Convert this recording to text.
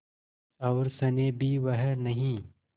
और स्नेह भी वह नहीं